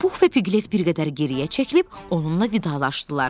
Pux və Piqlet bir qədər geriyə çəkilib onunla vidalaşdılar.